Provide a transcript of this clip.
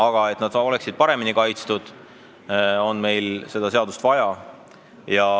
Aga selleks, et nad oleksid paremini kaitstud, on meil seda seadust vaja.